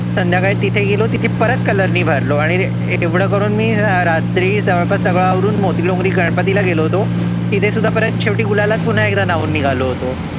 संध्याकाळी तिथे गेलो तर तिथे परत color ने भरलो आणी एवढ करुन मी रात्री सर्व आवरुन मोतीलो गणपतीला गेलो होतो तिथे सुद्धा परत गुलालाने न्हावुन निघालो होतो